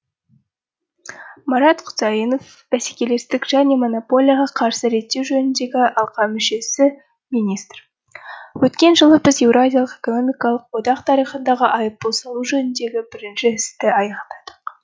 марат құсайынов бәсекелестік және монополияға қарсы реттеу жөніндегі алқа мүшесі министр өткен жылы біз еуразиялық экономикалық одақ тарихындағы айыппұл салу жөніндегі бірінші істі аяқтадық